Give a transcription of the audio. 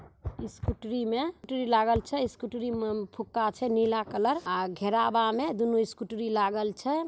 स्कूटरी में फुटरी लागल छे स्कूटरी में फुक्का छे नीला कलर आ घेरावा में दुनु स्कूटरी लागल छे।